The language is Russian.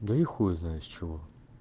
да и хуй знает с чего